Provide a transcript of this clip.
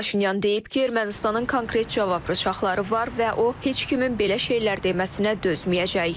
Paşinyan deyib ki, Ermənistanın konkret cavab pışaxları var və o heç kimin belə şeylər deməsinə dözməyəcək.